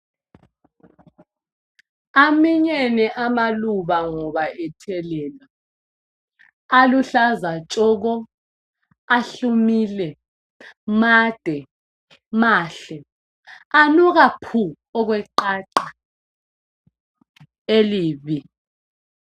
Aminyene amaluba ngoba ethelelwa. Aluhlaza tshoko, ahlumile, made, mahle , anuka phu okwe qaqa elibi.